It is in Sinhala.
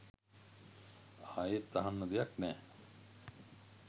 අයෙත් අහන්න දෙයක් නෑ